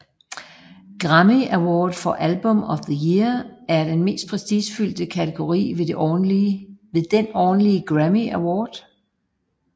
Grammy Award for Album of the Year er den mest prestigefyldte kategori ved den årlige Grammy Award